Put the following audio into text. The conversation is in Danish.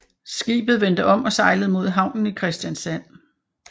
Skibet vendte om og sejlede mod havnen i Kristiansand